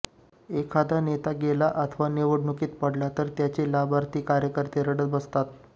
एखादा नेता गेला अथवा निवडणुकीत पडला तर त्याचे लाभार्थी कार्यकर्ते रडत बसतात